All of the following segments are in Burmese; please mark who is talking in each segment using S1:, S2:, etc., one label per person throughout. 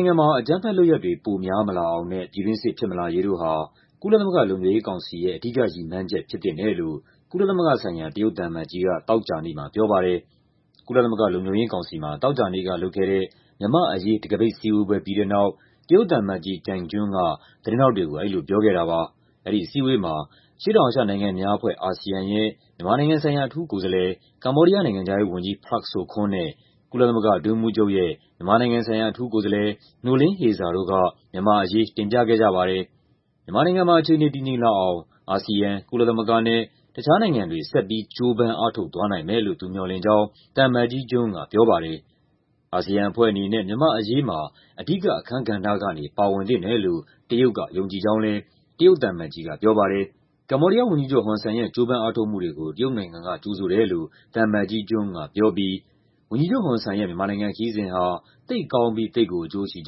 S1: င်ငံမှာ အကြမ်းဖက်လုပ်ရပ်တွေ ပိုများမလာအောင်နဲ့ ပြည်တွင်းစစ် ဖြစ်မလာရေးတို့ဟာ ကုလသမဂ္ဂ လုံခြုံရေးကောင်စီရဲ့ အဓိကရည်မှန်းချက် ဖြစ်သင့်တယ်လို့ ကုလသမဂ္ဂဆိုင်ရာ တရုတ်သံအမတ်ကြီးက သောကြာနေ့မှာ ပြောပါတယ်။ ကုလသမဂ္ဂ လုံခြုံရေးကောင်စီမှာ သောကြာနေ့က လုပ်ခဲ့တဲ့ မြန်မာ့အရေး တံခါးပိတ်စည်းဝေးပွဲ ပြီးတဲ့နောက် တရုတ်သံအမတ်ကြီး Zhang Jun က သတင်းထောက်တွေကို အဲဒီလို ပြောခဲ့တာပါ။ အဲဒီအစည်းအဝေးမှာ အရှေ့တောင်အာရှနိုင်ငံများအဖွဲ့ (ASEAN) ရဲ့ မြန်မာနိုင်ငံဆိုင်ရာ အထူးကိုယ်စားလှယ်၊ ကမ္ဘောဒီးယား နိုင်ငံခြားရေးဝန်ကြီး Prak Sokhonn နဲ့ ကုလသမဂ္ဂ အတွင်းရေးမှူးချုပ်ရဲ့ မြန်မာနိုင်ငံဆိုင်ရာ အထူးကိုယ်စားလှယ် Noeleen Heyzer တို့က မြန်မာ့အရေး တင်ပြခဲ့ကြပါတယ်။ မြန်မာနိုင်ငံမှာ အခြေအနေ တည်ငြိမ်လာအောင် အာဆီယံ၊ ကုလသမဂ္ဂနဲ့ တခြားနိုင်ငံတွေ ဆက်ပြီး ကြိုးပမ်းအားထုတ်သွားနိုင်မယ်လို့ သူမျှော်လင့်ကြောင်း သံအမတ်ကြီး Jun က ပြောပါတယ်။ အာဆီယံအဖွဲ့အနေနဲ့ မြန်မာ့အရေးမှာ "အဓိကအခန်းကဏ္ဍ" ကနေ ပါဝင်သင့်တယ်လို့ တရုတ်က ယုံကြည်ကြောင်းလည်း တရုတ်သံအမတ်ကြီးက ပြောပါတယ်။ ကမ္ဘောဒီးယားဝန်ကြီးချုပ် ဟွန်ဆန်ရဲ့ ကြိုးပမ်းအားထုတ်မှုတွေကို တရုတ်နိုင်ငံက ကြိုဆိုတယ်လို့ သံအမတ်ကြီး Jun က ပြောပြီး ဝန်ကြီးချုပ်ဟွန်ဆန်ရဲ့ မြန်မာနိုင်ငံခရီးစဉ်ဟာ "သိပ်ကောင်းပြီး သိပ်ကို အကျိုးရှိ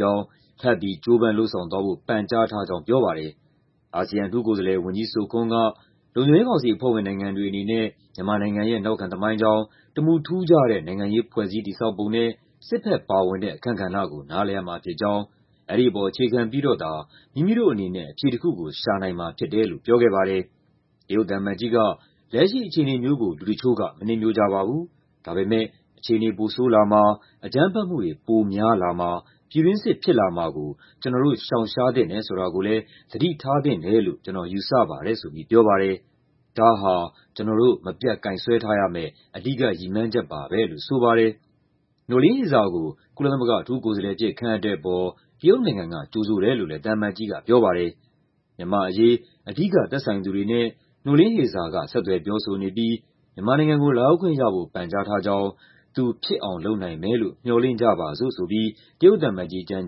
S1: ကြောင်း"၊ "ထပ်ပြီး ကြိုးပမ်းလုပ်ဆောင်သွားဖို့ ပန်ကြားထားကြောင်း" ပြောပါတယ်။ အာဆီယံ အထူးကိုယ်စားလှယ် ဝန်ကြီး Sokhonn က လုံခြုံရေးကောင်စီအဖွဲ့ဝင် နိုင်ငံတွေအနေနဲ့ မြန်မာနိုင်ငံရဲ့ နောက်ခံသမိုင်းကြောင်း၊ "တမူထူးခြားတဲ့ နိုင်ငံရေး ဖွဲ့စည်းတည်ဆောက်ပုံ" နဲ့ စစ်ဘက်ပါဝင်တဲ့ အခန်းကဏ္ဍကို နားလည်ရမှာဖြစ်ကြောင်း၊ "အဲဒီပေါ် အခြေခံပြီးတော့သာ မိမိတို့အနေနဲ့ အဖြေတခုကို ရှာနိုင်မှာဖြစ်တယ်" လို့ ပြောခဲ့ပါတယ်။ တရုတ်သံအမတ်ကြီးက "လက်ရှိအခြေအနေမျိုးကို လူတချို့က မနှစ်မြို့ကြပါဘူး။ ဒါပေမယ့် အခြေအနေ ပိုဆိုးလာမှာ၊ အကြမ်းဖက်မှုတွေ ပိုများလာမှာ၊ ပြည်တွင်းစစ် ဖြစ်လာမှာကို ကျနော်တို့ ရှောင်ရှားသင့်တယ် ဆိုတာကိုလည်း သတိထားသင့်တယ်လို့ ကျနော်ယူဆပါတယ်" ဆိုပြီး ပြောပါတယ်။ "ဒါဟာ ကျနော်တို့ မပြတ်ကိုင်စွဲထားရမယ့် အဓိကရည်မှန်းချက်ပါပဲ" လို့ ဆိုပါတယ်။ Noeleen Heyzer ကို ကုလသမဂ္ဂ အထူးကိုယ်စားလှယ်အဖြစ် ခန့်အပ်တဲ့အပေါ် တရုတ်နိုင်ငံက ကြိုဆိုတယ်လို့လည်း သံအမတ်ကြီးက ပြောပါတယ်။ မြန်မာ့အရေး အဓိက သက်ဆိုင်သူတွေနဲ့ Noeleen Heyzer က ဆက်သွယ်ပြောဆိုနေပြီး မြန်မာနိုင်ငံကို လာရောက်ခွင့်ရဖို့ ပန်ကြားထားကြောင်း၊ "သူ ဖြစ်အောင်လုပ်နိုင်မယ်လို့ မျှော်လင့်ကြပါစို့" ဆိုပြီး တရုတ်သံအမတ်ကြီး Zhang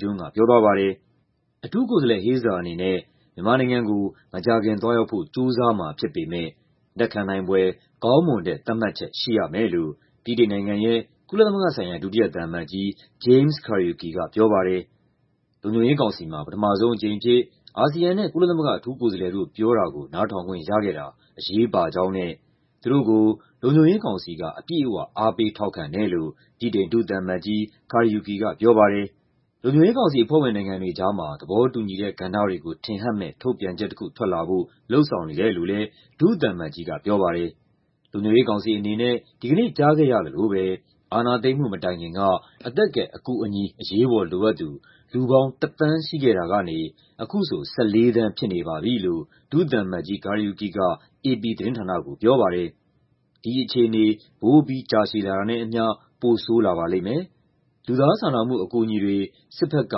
S1: Jun က ပြောသွားပါတယ်။ အထူးကိုယ်စားလှယ် Heyzer အနေနဲ့ မြန်မာနိုင်ငံကို မကြာခင် သွားရောက်ဖို့ ကြိုးစားမှာဖြစ်ပေမယ့် "လက်ခံနိုင်ဖွယ် ကောင်းမွန်တဲ့ သတ်မှတ်ချက်ရှိရမယ်" လို့ ဗြိတိန်နိုင်ငံရဲ့ ကုလသမဂ္ဂဆိုင်ရာ ဒုတိယသံအမတ်ကြီး James Kariuki က ပြောပါတယ်။ လုံခြုံရေးကောင်စီမှာ ပထမဆုံးအကြိမ်အဖြစ် အာဆီယံနဲ့ ကုလသမဂ္ဂ အထူးကိုယ်စားလှယ်တို့ ပြောတာကို နားထောင်ခွင့်ရခဲ့တာ အရေးပါကြောင်းနဲ့ သူတို့ကို လုံခြုံရေးကောင်စီက အပြည့်အဝ အားပေးထောက်ခံတယ်လို့ ဗြိတိန် ဒုသံအမတ်ကြီး Kariuki က ပြောပါတယ်။ လုံခြုံရေးကောင်စီအဖွဲ့ဝင် နိုင်ငံတွေကြားမှာ သဘောတူညီတဲ့ ကဏ္ဍတွေကို ထင်ဟပ်မယ့် ထုတ်ပြန်ချက်တခု ထွက်လာဖို့ လုပ်ဆောင်နေတယ်လို့လည်း ဒုသံအမတ်ကြီး Kariuki က ပြောပါတယ်။ "လုံခြုံရေးကောင်စီအနေနဲ့ ဒီကနေ့ ကြားခဲ့ရသလိုပဲ အာဏာသိမ်းမှု မတိုင်ခင်က အသက်ကယ်အကူအညီ အရေးပေါ်လိုအပ်သူ လူပေါင်း ၁ သန်း ရှိခဲ့တာကနေ အခုဆို ၁၄ သန်း ဖြစ်နေပါပြီ" လို့ ဒုသံအမတ်ကြီး Kariuki က အေပီသတင်းဌာနကို ပြောပါတယ်။ "ဒီအခြေအနေ ပိုပြီး ကြာရှည်လာတာနဲ့အမျှ ပိုဆိုးလာပါလိမ့်မယ်။ လူသားစာနာမှု အကူအညီတွေ စစ်ဘက်က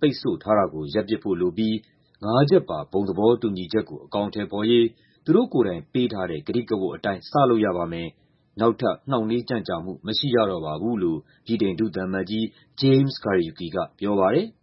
S1: ပိတ်ဆို့ထားတာကို ရပ်ပစ်ဖို့လိုပြီး ငါးချက်ပါ ဘုံသဘောတူညီချက်ကို အကောင်အထည်ဖော်ရေး သူတို့ကိုယ်တိုင် ပေးထားတဲ့ ကတိကဝတ်အတိုင်း စလုပ်ရပါမယ်၊ နောက်ထပ် နှောင့်နှေးကြန့်ကြာမှု မရှိရတော့ပါဘူး" လို့ ဗြိတိန် ဒုသံအမတ်ကြီး James Kariuki က ပြောပါတယ်။